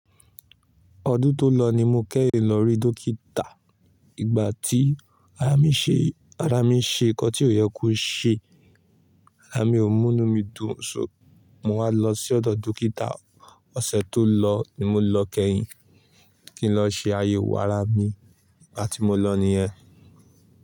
Ọdún tó lọ ni mo kẹ́yìn lọ rí dókítà. Ìgbà tí ara mi ṣe, ara mi ṣe nǹkan tí ò yẹ kó ṣe. Ara mi ò múnú mi dun, só mo wá lọ sí ọ̀dọ̀ dókítà. Ọ̀sẹ̀ tó lọ ni mo lọ kẹ́yìn kí n lọ ṣe ayẹwo ara mi. Ìgbà tí mo lọ nìyẹn.